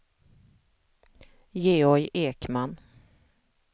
Georg Ekman